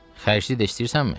Xərcli də istəyirsənmi?